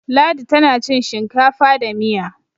Ladi tana cin shinkafa da Miya